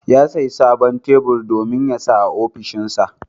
Ya sayi sabon tebur domin ya saka a ofishinsa.